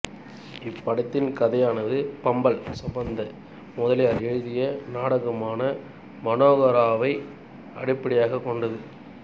இப்படத்தின் கதையானது பம்மல் சம்பந்த முதலியார் எழுதிய நாடகமான மனோகராவை அடிப்படையாக கொண்டது